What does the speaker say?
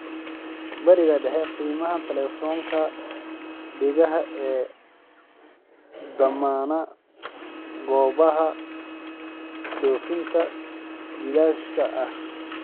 barbar dhig qiimaha taleefoonka dhegaha ee dhammaan goobaha dhoofinta bilaashka ah